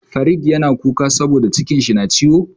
Farid yana kuka saboda cikin shi na ciwo.